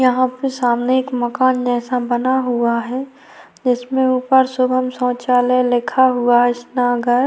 यहाँ पे सामने एक मकान जैसा बना हुआ है जिसके ऊपर शुभम शौचालय लिखा हुआ है इसमें अगर --